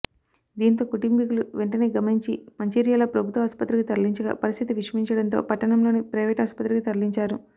దీంతో కుటుంబీకులు వెం టనే గమనించి మంచిర్యాల ప్రభుత్వ ఆసుపత్రికి తరలించగా పరిస్థితి విషమించడంతో పట్టణంలోని ప్రైవేట్ ఆసుపత్రికి తరలించారు